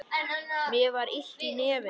Mér var illt í nefinu.